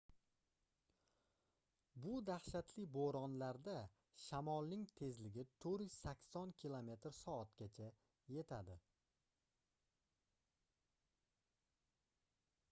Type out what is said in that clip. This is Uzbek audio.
bu dahshatli bo'ronlarda shamolning tezligi 480 km/soatgacha 133 m/s; 300 milya/soat yetadi